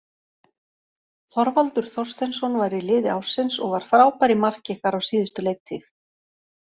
Þorvaldur Þorsteinsson var í liði ársins og var frábær í marki ykkar á síðustu leiktíð.